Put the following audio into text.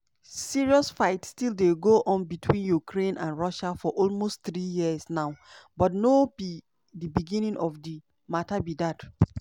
serious fight still dey go on between ukraine and russia for almost three years now but no be di beginning of di mata be dat.